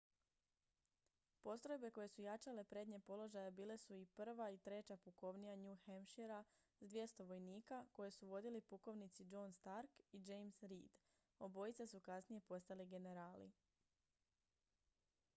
postrojbe koje su jačale prednje položaje bile su i 1. i 3. pukovnija new hampshirea s 200 vojnika koje su vodili pukovnici john stark i james reed obojica su kasnije postali generali